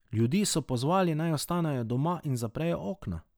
Ljudi so pozvali, naj ostanejo doma in zaprejo okna.